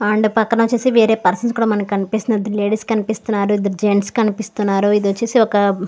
and పక్కన వచ్చేసి వేరే పర్సన్స్ కూడ మనకి కనిపిస్తున్నారు ఇద్దరు లేడీస్ కనిపిస్తున్నారు ఇద్దరు జెంట్స్ కనిపిస్తున్నారు ఇది వచ్చేసి ఒక --